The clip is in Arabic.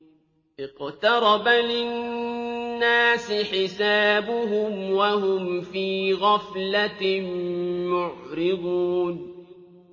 اقْتَرَبَ لِلنَّاسِ حِسَابُهُمْ وَهُمْ فِي غَفْلَةٍ مُّعْرِضُونَ